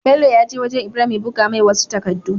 Bello yaje wajan ibrahim ya buga mai wasu takadu